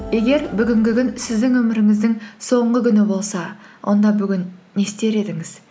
егер бүгінгі күн сіздің өміріңіздің соңғы күні болса онда бүгін не істер едіңіз